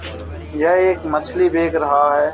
यह एक मछली देख रहा है।